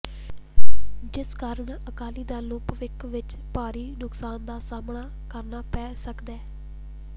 ਜਿਸ ਕਾਰਨ ਅਕਾਲੀ ਦਲ ਨੂੰ ਭਵਿੱਖ ਵਿਚ ਭਾਰੀ ਨੁਕਸਾਨ ਦਾ ਸਾਹਮਣਾ ਕਰਨਾ ਪੈ ਸਕਦੈ